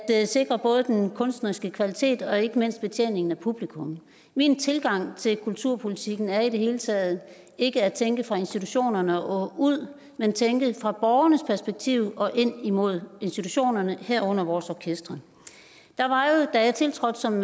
sikre både den kunstneriske kvalitet og ikke mindst betjeningen af publikum min tilgang til kulturpolitikken er i det hele taget ikke at tænke fra institutionerne og ud men at tænke fra borgernes perspektiv og ind imod institutionerne herunder vores orkestre der var jo da jeg tiltrådte som